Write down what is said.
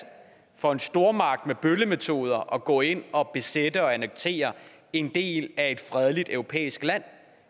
for en stormagt med bøllemetoder at gå ind og besætte og annektere en del af et fredeligt europæisk land